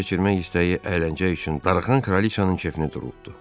keçirmək istəyi əyləncə üçün darıxan kralçanın kefinə durubdu.